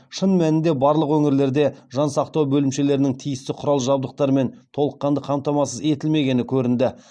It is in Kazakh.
шын мәнінде барлық өңірлерде жан сақтау бөлімшелерінің тиісті құрал жабдықтармен толыққанды қамтамасыз етілмегені көрінді